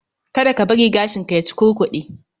Kada ka bari gashinka ya cukurkude